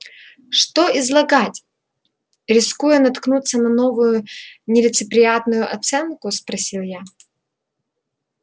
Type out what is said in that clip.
что излагать рискуя наткнуться на новую нелицеприятную оценку спросил я